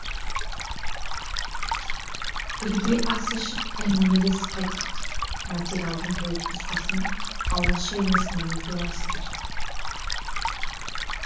бірге ас ішіп әңгімелесіп қайттық материалдың толық нұсқасын алаш айнасынан оқи аласыздар